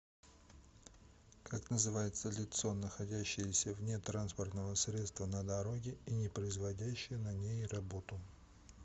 как называется лицо находящееся вне транспортного средства на дороге и не производящее на ней работу